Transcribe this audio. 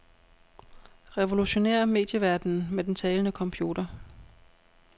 Revolutionér medieverdenen med den talende computer.